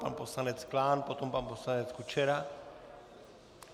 Pan poslanec Klán, potom pan poslanec Kučera.